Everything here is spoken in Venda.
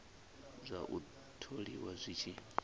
zwa u tholiwa zwi tshi